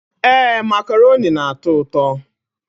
Ee, macaroni na-atọ ụtọ.